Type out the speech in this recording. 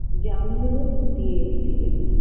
জামগুলো দিয়ে দিলেন